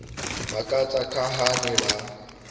makatsa ka ha ba ne